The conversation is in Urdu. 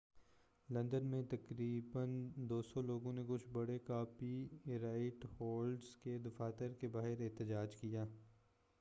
لندن میں تقریبا 200 لوگوں نے کچھ بڑے کاپی رائٹ ہولڈرز کے دفاتر کے باہر احتجاج کیا